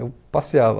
Eu passeava.